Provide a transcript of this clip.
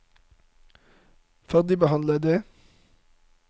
ferdigbehandlede